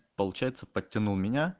получается подтянул меня